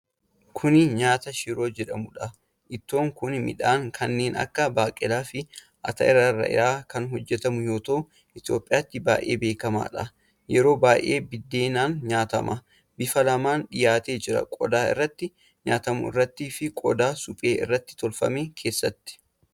Kuni nyaata shiroo jedhamuudha. Ittoon kun midhaan kanneen akka baaqelaa fi atara irra kan hojjatamu yoo ta'u Itoophiyaatti baay'ee beekamaadha. Yeroo baay'ee biddeenaan nyaatama. Bifa lamaan dhiyaatee jira: qodaa irratti nyaatamu irratti fi qodaa suphee irraa tolfame keessatti.